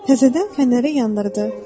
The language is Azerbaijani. Təzədən fənəri yandırdı.